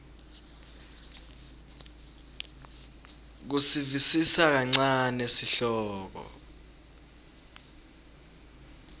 kusivisisa kancane sihloko